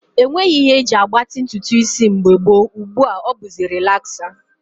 E nweghị ihe e ji agbatị ntụtụ isi mgbe gboo, ugbu a ọ bụzi relaksa